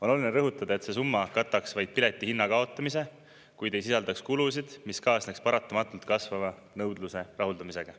On oluline rõhutada, et see summa kataks vaid pileti hinna kaotamise, kuid ei sisaldaks kulusid, mis kaasneks paratamatult kasvava nõudluse rahuldamisega.